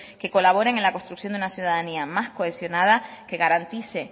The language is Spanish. que colaboren en la construcción de una ciudadanía más cohesionada que garantice